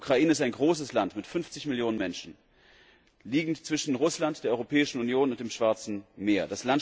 Die Ukraine ist ein großes Land mit 50 Millionen Menschen, sie liegt zwischen Russland, der Europäischen Union und dem Schwarzen Meer.